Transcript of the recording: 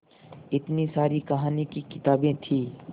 इतनी सारी कहानी की किताबें थीं